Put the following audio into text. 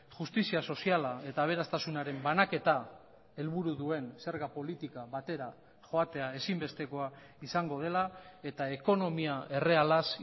justizia soziala eta aberastasunaren banaketa helburu duen zerga politika batera joatea ezinbestekoa izango dela eta ekonomia errealaz